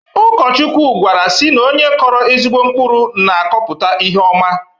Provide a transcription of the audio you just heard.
Ụkọchukwu gwara sị na onye kọrọ ezigbo mkpụrụ na-akọpụta ihe ọma